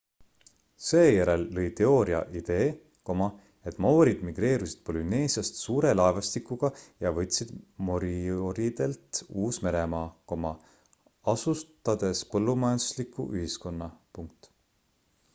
seejärel lõi teooria idee et maoorid migreerusid polüneesiast suure laevastikuga ja võtsid morioridelt uus-meremaa asutades põllumajandusliku ühiskonna